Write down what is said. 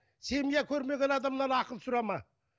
семья көрмеген адамнан ақыл сұрама